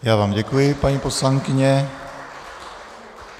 Já vám děkuji, paní poslankyně.